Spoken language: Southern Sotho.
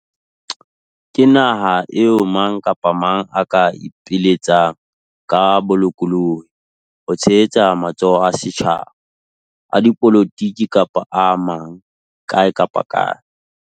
Ke naha eo mang kapa mang a ka ipiletsang ka bolokolohi ho tshehetsa matsholo a setjhaba, a dipolotiki kapa a mang kae kapa kae.